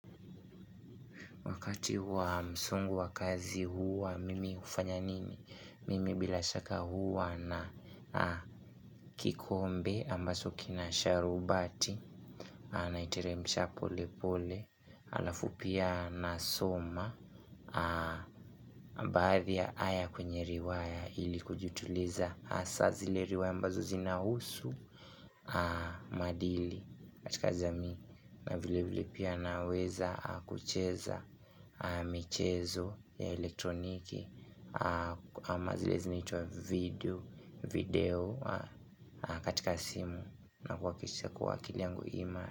Wakati wa msongo wa kazi huwa, mimi hufanya nini? Mimi bila shaka huwa na kikombe ambacho kina sharubati. Naitiremsha pole pole. Alafu pia nasoma. Baadhi ya aya kwenye riwaya ili kujituliza. Hasaa zile riwaya ambazo zinahusu maadili. Katika jamii na vile vile pia naweza kucheza michezo ya elektroniki. Ama zile zinaitwa video katika simu na kuhakikisha kuwa akili yangu ima.